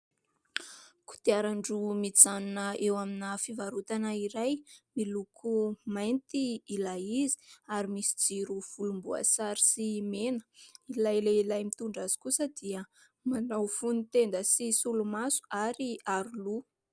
Kodiaran-droa mijanona eo amina fivarotana iray, miloko maity ilay izy, ary misy jiro volomboasary sy mena, ilay lehilahy mitondra azy kosa dia manao fono-tenda sy solomaso ary aro loha.